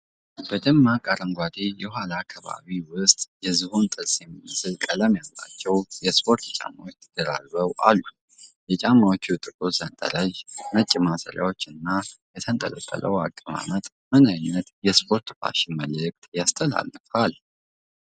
በደማቅ አረንጓዴ የኋላ ከባቢ ውስጥ፣ የዝሆን ጥርስ የሚመስል ቀለም ያላቸው የስፖርት ጫማዎች ተደራርበው አሉ። የጫማዎቹ ጥቁር ሰንጠረዦች፣ ነጭ ማሰሪያዎች እና የተንጠለጠለው አቀማመጥ ምን አይነት የስፖርት ፋሽን መልእክት ያስተላልፋሉ?